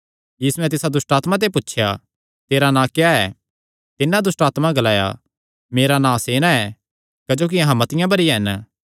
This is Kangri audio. यीशुयैं तिसा दुष्टआत्मा ते पुछया तेरा नां क्या ऐ तिन्नै दुष्टआत्मा ग्लाया मेरा नां सेना ऐ क्जोकि अहां मतिआं भरी हन